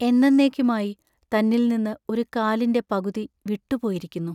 എന്നെന്നേക്കുമായി തന്നിൽ നിന്ന് ഒരു കാലിന്റെ പകുതി വിട്ടുപോയിരിക്കുന്നു.